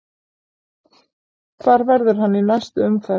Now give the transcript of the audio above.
Hvar verður hann í næstu umferð?